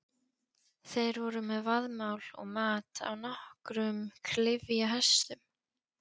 Þeir voru með vaðmál og mat á nokkrum klyfjahestum.